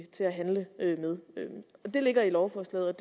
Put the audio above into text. til at handle med det ligger i lovforslaget